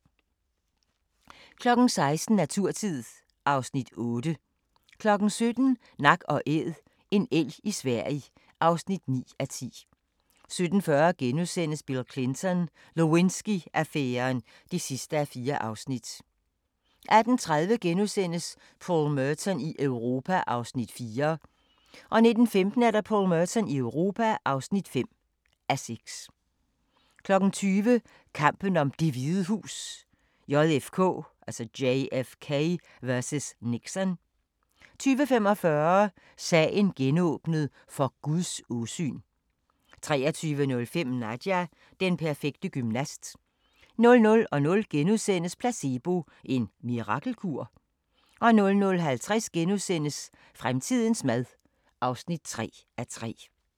16:00: Naturtid (Afs. 8) 17:00: Nak & Æd: En elg i Sverige (9:10) 17:40: Bill Clinton: Lewinsky-affæren (4:4)* 18:30: Paul Merton i Europa (4:6)* 19:15: Paul Merton i Europa (5:6) 20:00: Kampen om Det Hvide Hus: JFK vs. Nixon 20:45: Sagen genåbnet: For Guds åsyn 23:05: Nadia – den perfekte gymnast 00:00: Placebo – en mirakelkur? * 00:50: Fremtidens mad (3:3)*